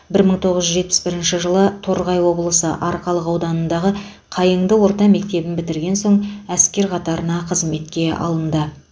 бір мың тоғыз жүз жетпіс бірінші жылы торғай облысы арқалық ауданындағы қайыңды орта мектебін бітірген соң әскер қатарында қызмеке алынды